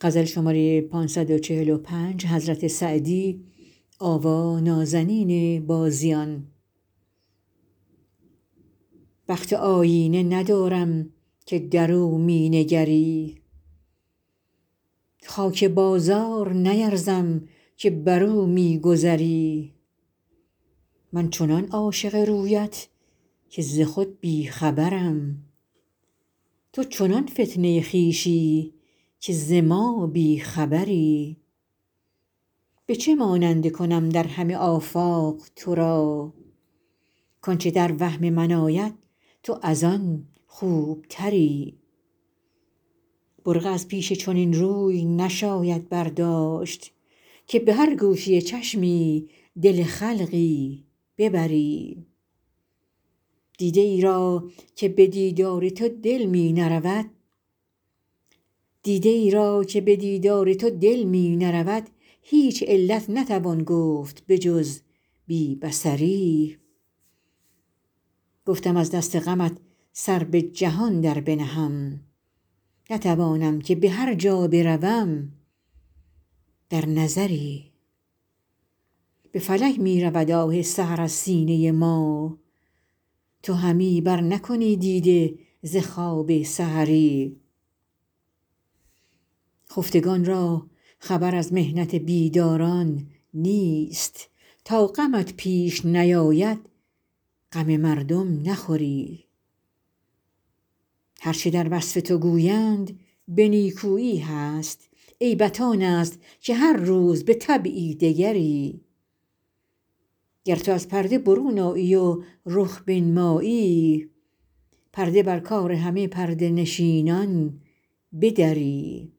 بخت آیینه ندارم که در او می نگری خاک بازار نیرزم که بر او می گذری من چنان عاشق رویت که ز خود بی خبرم تو چنان فتنه خویشی که ز ما بی خبری به چه ماننده کنم در همه آفاق تو را کآنچه در وهم من آید تو از آن خوبتری برقع از پیش چنین روی نشاید برداشت که به هر گوشه چشمی دل خلقی ببری دیده ای را که به دیدار تو دل می نرود هیچ علت نتوان گفت به جز بی بصری گفتم از دست غمت سر به جهان در بنهم نتوانم که به هر جا بروم در نظری به فلک می رود آه سحر از سینه ما تو همی برنکنی دیده ز خواب سحری خفتگان را خبر از محنت بیداران نیست تا غمت پیش نیاید غم مردم نخوری هر چه در وصف تو گویند به نیکویی هست عیبت آن است که هر روز به طبعی دگری گر تو از پرده برون آیی و رخ بنمایی پرده بر کار همه پرده نشینان بدری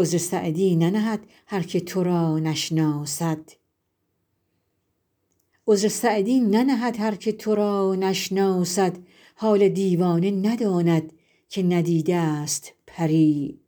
عذر سعدی ننهد هر که تو را نشناسد حال دیوانه نداند که ندیده ست پری